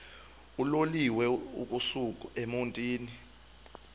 uloliwe ukusuk emontini